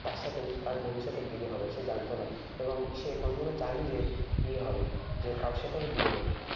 তার সাথে তার ভবিষ্যতে বিয়ে হবে। সে জানত না। এবং সে কোনোদিনও চায়নি যে বিয়ে হবে। যে কারোর সাথে ওর বিয়ে হোক।